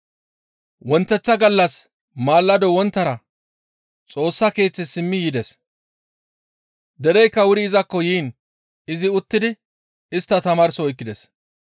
Wonteththa gallas maalado wonttara Xoossa Keeththe simmi yides. Dereykka wuri izakko yiin izi uttidi istta tamaarso oykkides.